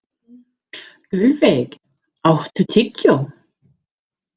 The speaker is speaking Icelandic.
Gullveig, áttu tyggjó?